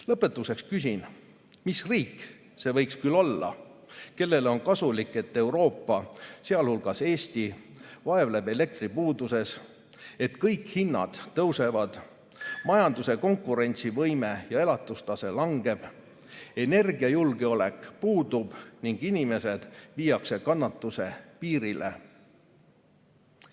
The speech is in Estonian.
Lõpetuseks küsin, mis riik see võiks küll olla, kellele on kasulik, et Euroopa, sealhulgas Eesti, vaevleb elektripuuduses, kõik hinnad tõusevad, majanduse konkurentsivõime ja elatustase langevad, energiajulgeolek puudub ning inimesed viiakse kannatuse piirile.